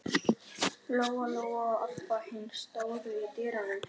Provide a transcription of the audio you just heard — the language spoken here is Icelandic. Lóa Lóa og Abba hin stóðu í dyrunum.